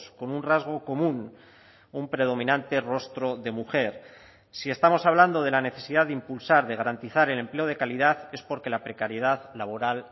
con un rasgo común un predominante rostro de mujer si estamos hablando de la necesidad de impulsar de garantizar el empleo de calidad es porque la precariedad laboral